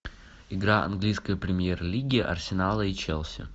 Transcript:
игра английской премьер лиги арсенала и челси